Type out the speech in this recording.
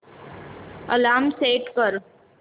alarm set कर